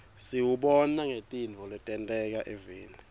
siwubona ngetintfo letenteka eveni